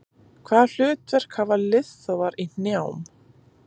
Hvaða hlutverk hafa liðþófar í hnjám?